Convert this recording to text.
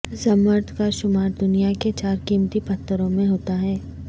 زمرد کا شمار دنیا کے چار قیمتی پتھروں میں ہوتا ہے